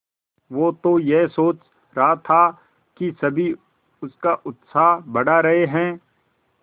वो तो यह सोच रहा था कि सभी उसका उत्साह बढ़ा रहे हैं